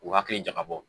U hakili jagabɔ